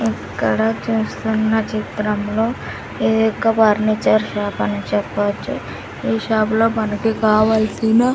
ఇక్కడ చూస్తున్న చిత్రంలో ఇదొక ఫర్నిచర్ షాప్ అని చెప్పొచ్చు ఈ షాప్ లో మనకి కావల్సిన--